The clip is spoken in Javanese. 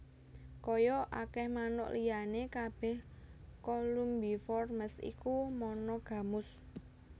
Kaya akèh manuk liyané kabèh Columbiformes iku monogamus